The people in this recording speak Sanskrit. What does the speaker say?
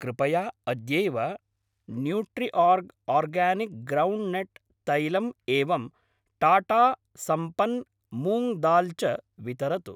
कृपया अद्यैव न्यूट्रिओर्ग् आर्गानिक् ग्रौण्ड्नट् तैलम् एवं टाटा सम्पन् मूङ्ग् दाल् च वितरतु।